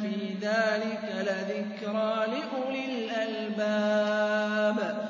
فِي ذَٰلِكَ لَذِكْرَىٰ لِأُولِي الْأَلْبَابِ